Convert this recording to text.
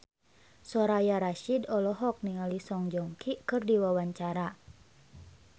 Soraya Rasyid olohok ningali Song Joong Ki keur diwawancara